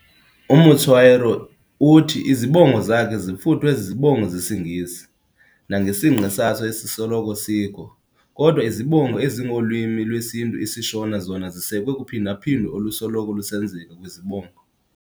UMutswairo uthi izibongo zakhe zifuthwe zizibongo zesiNgesi, nangesingqi saso esisoloko sikho, kodwa izibongo ezingolwimi lwesintu isiShona zona zisekwe kuphinda-phindo olusoloko lusenzeka kwizibongo.